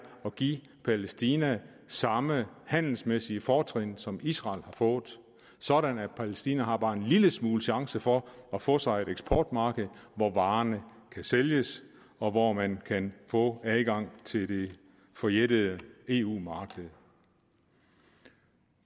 at give palæstina samme handelsmæssige fortrin som israel har fået sådan at palæstina har bare en lille smule chance for at få sig et eksportmarked hvor varerne kan sælges og hvor man kan få adgang til det forjættede eu marked